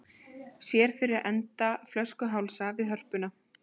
Sér fyrir enda flöskuhálsa við Hörpuna